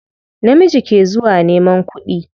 Namiji ke zuwa neman kuɗi.